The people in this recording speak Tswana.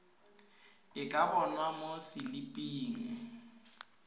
e ka bonwa mo seliping